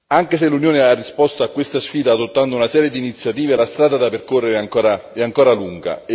Anche se l'Unione ha risposto a questa sfida adottando una serie di iniziative, la strada da percorrere è ancora lunga.